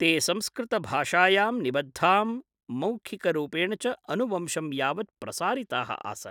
ते संस्कृतभाषायां निबद्धां, मौखिकरूपेण च अनुवंशं यावत् प्रसारिताः आसन् ।